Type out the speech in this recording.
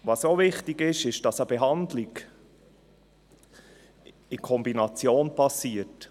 Wichtig ist auch, dass eine Behandlung in Kombination geschieht.